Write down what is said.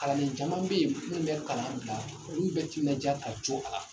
Kalanden caman bɛ yen minnu bɛ kalan bila, olu bɛ timinandiya ka to a la.